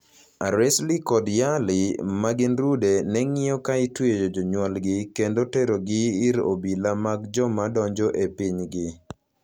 Aracely kod Yarely, ma gin rude, ne ng'iyo ka itweyo jonyuolgi kendo terogi ir obila mag joma donjo e pinygi.